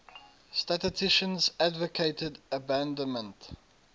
statisticians advocated abandonment